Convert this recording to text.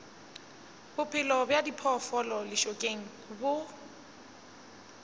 bophelo bja diphoofolo lešokeng bo